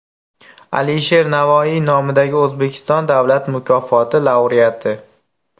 Alisher Navoiy nomidagi O‘zbekiston Davlat mukofoti laureati.